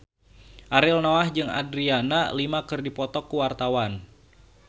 Ariel Noah jeung Adriana Lima keur dipoto ku wartawan